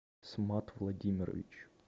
смат владимирович